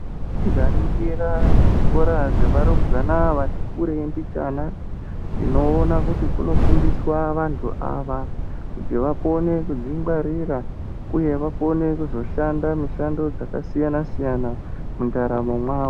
Tikaringira muzvikora zvevarumbwana vati kurei mbicgana, tinoona kuti kunofundiswa vanthu ava, kuti vakone kudzingwarira, uye vakone kuzoshanda mishando yakasiyana-siyana mundaramo mwavo.